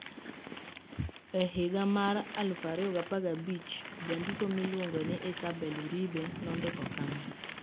E higa mar 2015, jandiko miluongo ni Isabel Uribe nondiko kama: